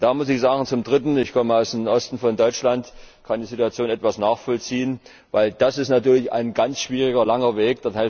Und da muss ich sagen, zum Dritten ich komme aus dem Osten von Deutschland und kann die Situation etwas nachvollziehen ist das natürlich ein ganz schwieriger langer Weg.